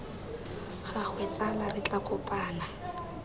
gagwe tsala re tla kopana